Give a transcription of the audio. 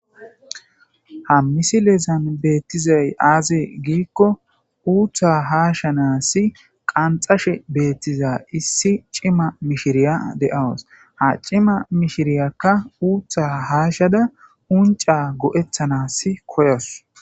Ha misilezan beetizay aze gikko utta hashanasi qanixashe diza issi cima mishiriya de'awusu.ha cima mishiriyaka utha hashada go'etanasi koyasu.